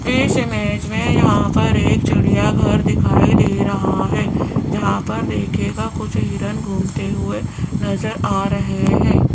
इस इमेज में यहाँ पर एक चिड़ियांघर दिखाई दे रहा है जहाँ पर देखियेगा कुछ हिरन घुमते हुए नजर आ रहे हैं।